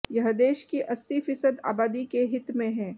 यह देश की अस्सी फीसद आबादी के हित में है